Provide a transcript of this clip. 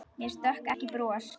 Mér stökk ekki bros.